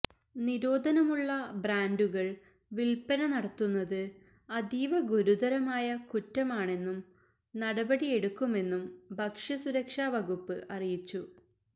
നിരോധനമുള്ള ബ്രാന്ഡുകള് വില്പന നടത്തുന്നത് അതീവ ഗുരുതരമായ കുറ്റമാണെന്നും നടപടിയെടുക്കുമെന്നും ഭക്ഷ്യ സുരക്ഷാ വകുപ്പ് അറിയിച്ചു